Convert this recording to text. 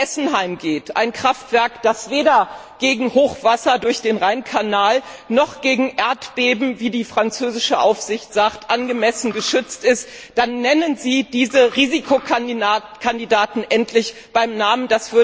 um Fessenheim geht, ein Kraftwerk, das weder gegen Hochwasser noch gegen Erdbeben, wie die französische Aufsicht sagt, angemessen geschützt ist, dann nennen Sie diese Risikokandidaten endlich beim Namen!